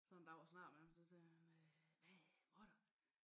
Så en dag så snakkede jeg med ham så sagde han øh hvad mutter